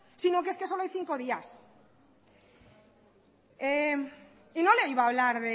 sino que es solo hay cinco días y no le iba a hablar